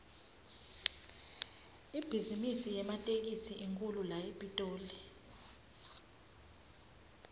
ibhizimisi yematekisi inkhulu la epitoli